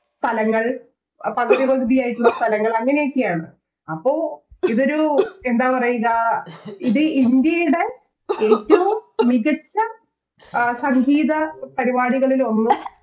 സ്ഥലങ്ങൾ പകുതി പകുതിയായിട്ടുള്ള സ്ഥലങ്ങൾ അങ്ങനെയൊക്കെയാണ് അപ്പൊ ഇവര് എന്താ പറയുക ഇത് ഇന്ത്യയുടെ ഏറ്റോം മികച്ച സംഗീത പരിപാടികളിലൊന്നും